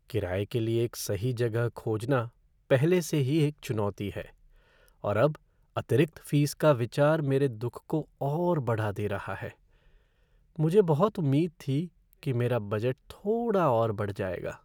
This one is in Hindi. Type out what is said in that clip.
किराये के लिए सही जगह खोजना पहले से ही एक चुनौती है, और अब अतिरिक्त फ़ीस का विचार मेरे दुख को और बढ़ा दे रहा है। मुझे बहुत उम्मीद थी कि मेरा बजट थोड़ा और बढ़ जाएगा।